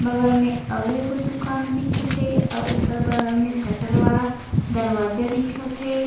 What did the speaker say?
बगल में आऊ एगो दुकान दिखत हे आ ओकर बगल में सटर वाला दरवाजा दिखत हे।